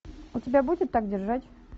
у тебя будет так держать